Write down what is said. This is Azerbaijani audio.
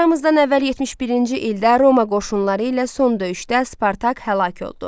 Eramızdan əvvəl 71-ci ildə Roma qoşunları ilə son döyüşdə Spartak həlak oldu.